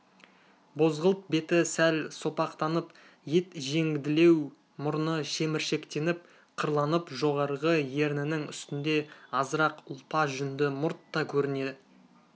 бозғылт беті сәл сопақтанып ет жеңділеу мұрны шеміршектеніп қырланып жоғарғы ернінің үстінде азырақ ұлпа жүнді мұрт та көріне